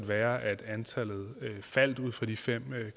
være at antallet falder ud fra de fem